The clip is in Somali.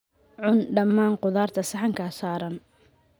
Cun dhammaan khudaarta saxankaas saaran.